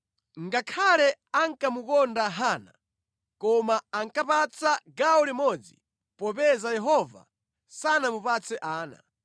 Ngakhale ankamukonda Hana, koma ankamupatsa gawo limodzi popeza Yehova sanamupatse ana.